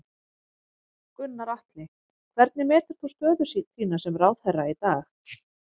Gunnar Atli: Hvernig metur þú stöðu þína sem ráðherra í dag?